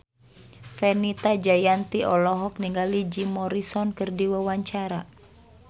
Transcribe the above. Fenita Jayanti olohok ningali Jim Morrison keur diwawancara